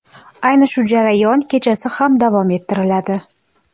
Ayni shu jarayon kechasi ham davom ettiriladi.